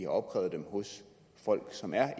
opkrævet dem hos folk som er